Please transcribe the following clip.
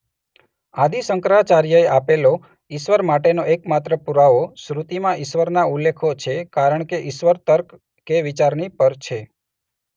આદિ શંકરાચાર્યએ આપેલો ઇશ્વર માટેનો એકમાત્ર પૂરાવો શ્રૃતિમાં ઇશ્વરના ઉલ્લેખો છે કારણ કે ઇશ્વર તર્ક કે વિચારની પર છે.